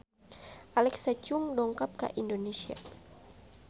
Alexa Chung dongkap ka Indonesia